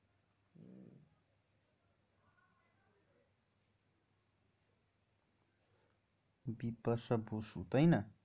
বিপাশা বসু তাই না?